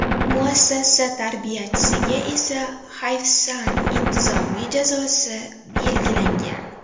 Muassasa tarbiyachisiga esa hayfsan intizomiy jazosi belgilangan.